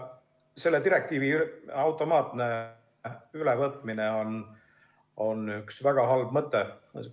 Selle direktiivi automaatne ülevõtmine on väga halb mõte.